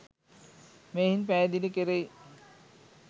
මෙයින් පැහැදිලි කෙරෙයි.